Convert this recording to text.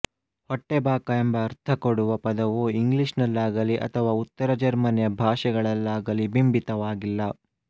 ಹೊಟ್ಟೆಬಾಕ ಎಂಬ ಅರ್ಥ ಕೊಡುವ ಪದವು ಇಂಗ್ಲಿಷ್ ನಲ್ಲಾಗಲಿ ಅಥವಾ ಉತ್ತರ ಜೆರ್ಮನಿಯ ಭಾಷೆಗಳಲ್ಲಾಗಲಿ ಬಿಂಬಿತವಾಗಿಲ್ಲ